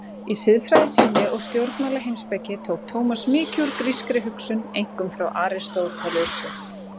Í siðfræði sinni og stjórnmálaheimspeki tók Tómas mikið úr grískri hugsun, einkum frá Aristótelesi.